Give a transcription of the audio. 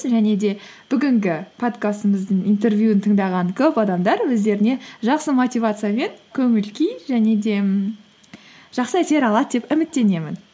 және де бүгінгі подкастымыздың интервьюін тыңдаған көп адамдар өздеріне жақсы мотивация мен көңіл күй және де жақсы әсер алады деп үміттенемін